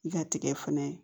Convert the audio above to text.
I ka tigɛ fɛnɛ